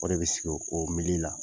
O de bɛ sigi o la.